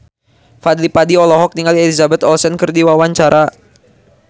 Fadly Padi olohok ningali Elizabeth Olsen keur diwawancara